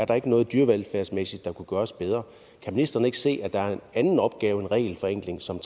der er noget dyrevelfærdsmæssigt der kunne gøres bedre kan ministeren ikke se at der er en anden opgave end regelforenkling som